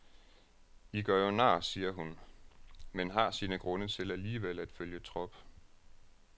I gør jo nar, siger hun, men har sine grunde til alligevel at følge trop.